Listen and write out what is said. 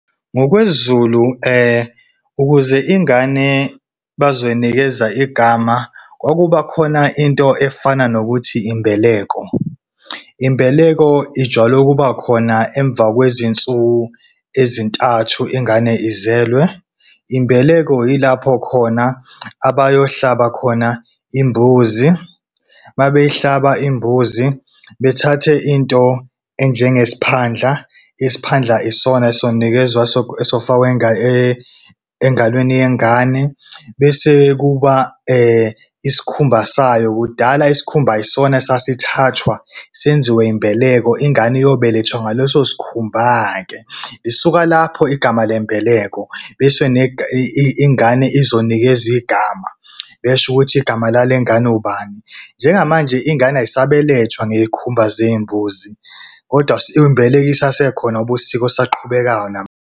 NgokwesiZulu, ukuze ingane bazoyinikeza igama, kwakubakhona into efana nokuthi imbeleko. Imbeleko ijwayele ukuba khona emva kwezinsuku ezintathu ingane izelwe. Imbeleko yilapho khona abayohlaba khona imbuzi. Uma beyihlaba imbuzi, bethathe into enjengesiphandla. Isiphandla isona esonikezwa esofakwa engalweni yengane bese kuba isikhumba sayo. Kudala isikhumba yisona esasithathwa senziwe imbeleko, ingane iyobelethwa ngaleso sikhumba-ke. Lisuka lapho igama le mbeleko bese ingane izonikezwa igama besho ukuthi igama lale ngane ubani. Njengamanje ingane ayisabelethwa ngeyikhumba zey'mbuzi kodwa imbeleko isasekhona ngoba usiko olusaqhubekayo .